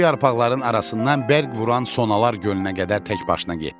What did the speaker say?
O yarpaqların arasından bərq vuran sonalar gölünə qədər təkbaşına getdi.